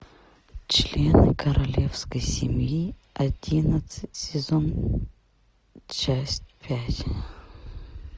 члены королевской семьи одиннадцать сезон часть пять